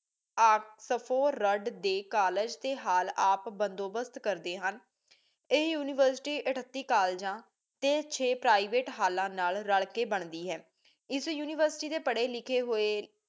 Oxford ਦੇ college ਤੇ hall ਆਪ ਬੰਦੋਬਸਤ ਕਰਦੀ ਹਨ ਇਹ ਯੂਨੀਵਰਸਿਟੀ ਏਥ੍ਤੀ ਕਾਲਜਾਂ ਤੇ ਛੇ ਪ੍ਰਾਈਵੇਟ ਹੱਲਾਂ ਨਾਲ ਰਲ ਕ ਬਣ ਦੀ ਹੈ ਏਸ ਯੂਨੀਵਰਸਿਟੀ ਦੇ ਪੜੇ ਲਿਖੀ ਹੋਏ ਲੋਕ